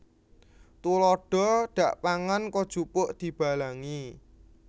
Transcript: Tuladha dakpangan kojupuk dibalangi